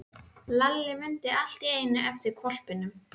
Lalli mundi allt í einu eftir hvolpinum.